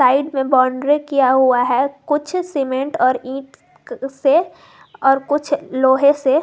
side में boundary किया हुआ है कुछ सीमेंट और ईट से और कुछ लोहे से--